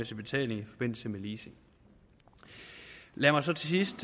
betaling i forbindelse med leasing lad mig så til sidst